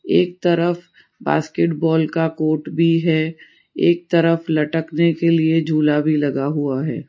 एक तरफ बास्केटबॉल का कोर्ट भी है एक तरफ लटकने के लिए झूला भी लगा हुआ है।